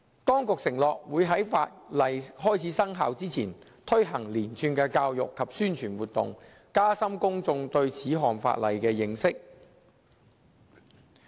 當局承諾會在法例開始生效前，推行連串教育及宣傳活動，加深公眾對此項法例的認識。